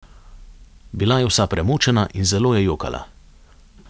Bila je vsa premočena in zelo je jokala.